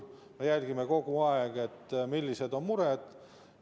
Me jälgime kogu aeg, millised on mured.